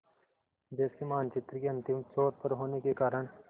देश के मानचित्र के अंतिम छोर पर होने के कारण